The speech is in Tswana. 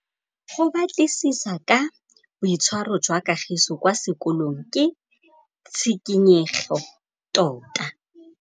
Go batlisisa ka boitshwaro jwa Kagiso kwa sekolong ke tshikinyêgô tota.